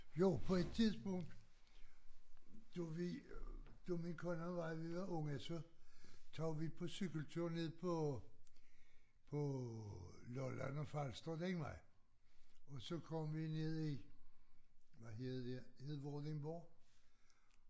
Jo på et tidspunkt du ved da min kone og mig vi var unge så tog vi på cykeltur ned på på Lolland og Falster den vej og så kom vi ned i hvad hedder det hed Vordingborg